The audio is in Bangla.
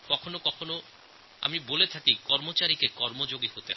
কখনও কখনও আমি বলি যে কর্মচারীরা কর্মযোগী হন